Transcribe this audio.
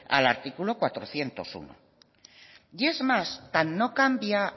al artículo cuatrocientos uno y es más tan no cambia